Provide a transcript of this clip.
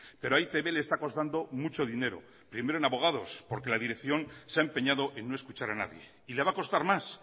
pero a e i te be le está costando mucho dinero primero en abogados porque la dirección se ha empeñado en no escuchar a nadie y le va a costar más